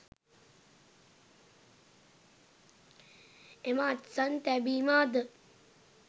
එම අත්සන් තැබීම අද